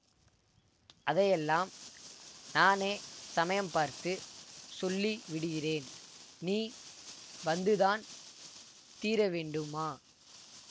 அதையெல்லாம் நானே சமயம் பார்த்து சொல்லி விடுகிறேன் நீ வந்துதான் தீரவேண்டுமா